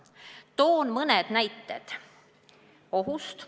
Toon mõne näite ohu kohta.